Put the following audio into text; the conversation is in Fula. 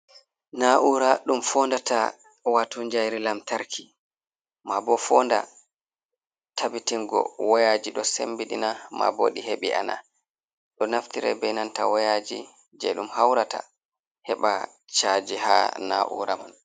Na'ura ɗum fondata wato jayri lamtarki, ma bo fonda tabbitingo wayaji ɗo sembidina ma bo ɗi hebi ana, ɗo naftira be nanta wayaji je ɗum haurata, heɓa chaji ha na'ura man.